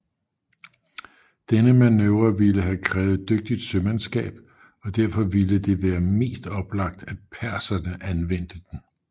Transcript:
Denne manøvre ville have krævet dygtigt sømandsskab og derfor ville det være mest oplagt at perserne anvendte den